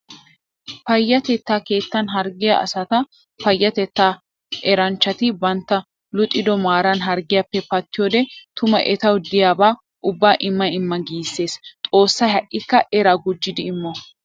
Payatetta keettan harggiya asatta payatetta eranchchatti bantta luxiddo maaran harggiyappe pattiyoode tuma ettawu diyaaba ubba imma imma gisees. Xoosay ha'ikka era gujjiddi immo .